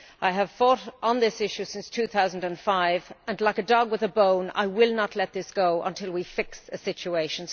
I have fought on this issue since 2005 and like a dog with a bone I will not let this go until we have fixed the situation.